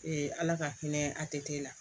ala ka hinɛ a tɛ la